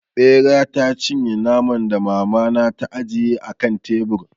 Ɓera ta cinye naman da mama na ta ajiye a kan tebur.